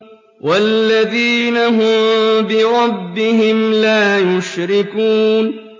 وَالَّذِينَ هُم بِرَبِّهِمْ لَا يُشْرِكُونَ